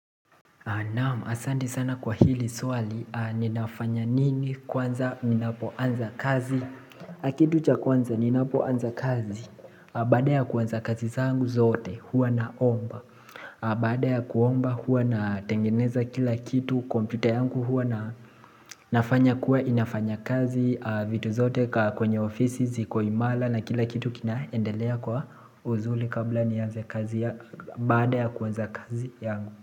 Naam asante sana kwa hili swali, ninafanya nini kwanza ninapoanza kazi Kitu cha kwanza ninapoanza kazi, baada ya kuanza kazi zangu zote huwa naomba Baada ya kuomba huwa natengeneza kila kitu, Computer yangu huwa nafanya kuwa inafanya kazi, vitu zote kwenye ofisi ziko imara na kila kitu kinaendelea kwa uzuri kabla nianze kazi, baada ya kuanza kazi yangu.